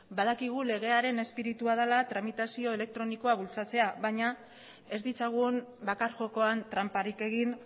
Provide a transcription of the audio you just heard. badakigu legearen espiritua dela tramitazio elektronikoa bultzatzea baina ez ditzagun bakar jokoan tranparik egin